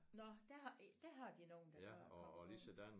Nåh der har der har de nogen der kommer gående